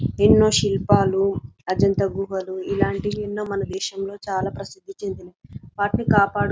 ఎన్నో శిల్పాలు అజంతా గుహలు ఇలాంటివి ఎన్నో మన దేశంలో చాలా ప్రసిద్ధి చందిది వాటిని కాపాడు --